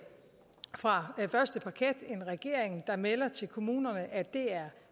fra første parket en regering der melder til kommunerne at det er